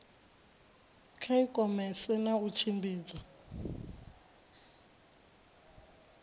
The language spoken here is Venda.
kha ikhomese na u tshimbidza